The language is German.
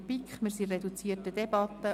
der BiK. Wir führen eine reduzierte Debatte.